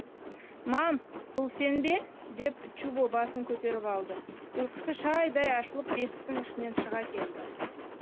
мам бұл сен бе деп чубо басын көтеріп алды ұйқысы шайдай ашылып бесіктің ішінен шыға келді